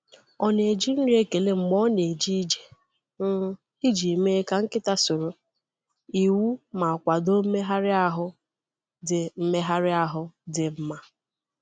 Ọ na-eji nri ekele mgbe ọ na-eje ije um iji mee ka nkịta soro iwu ma kwado mmegharị ahụ dị mmegharị ahụ dị mma.